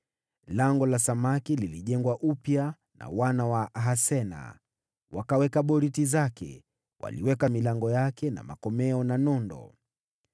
Lango la Samaki lilijengwa upya na wana wa Hasenaa. Waliweka boriti zake, na wakaweka milango yake na makomeo na nondo.